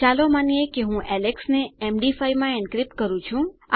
ચાલો માનીએ કે હું એલેક્સ ને એમડી5 માં એન્ક્રિપ્ટ કરું છું